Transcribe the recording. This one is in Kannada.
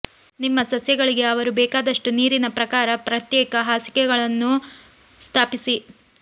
ನಿಮ್ಮ ಸಸ್ಯಗಳಿಗೆ ಅವರು ಬೇಕಾದಷ್ಟು ನೀರಿನ ಪ್ರಕಾರ ಪ್ರತ್ಯೇಕ ಹಾಸಿಗೆಗಳನ್ನು ಸ್ಥಾಪಿಸಿ